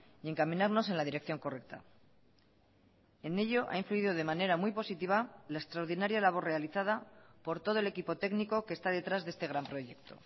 y encaminarnos en la dirección correcta en ello ha influido de manera muy positiva la extraordinaria labor realizada por todo el equipo técnico que está detrás de este gran proyecto